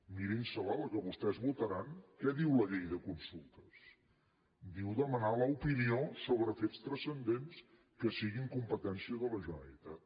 mirin se la la que vostès votaran què diu la llei de consultes diu demanar l’opinió sobre fets transcendents que siguin competència de la generalitat